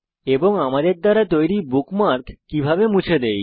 এবং আমাদের দ্বারা তৈরী বুকমার্ক কিভাবে মুছে দেই